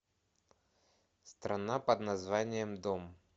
страна под названием дом